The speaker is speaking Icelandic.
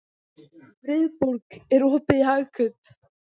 Friðborg, er opið í Hagkaup?